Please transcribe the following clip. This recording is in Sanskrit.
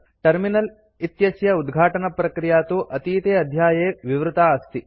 टर्मिनल इत्यस्य उद्घाटनप्रक्रिया तु अतीते अध्याये विवृता अस्ति